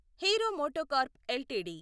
hero MotoCorp LTD